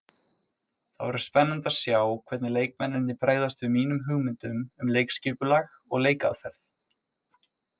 Það verður spennandi að sjá hvernig leikmennirnir bregðast við mínum hugmyndum um leikskipulag og leikaðferð.